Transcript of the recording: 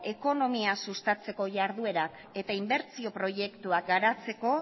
ekonomia sustatzeko jarduerak eta inbertsio proiektuak garatzeko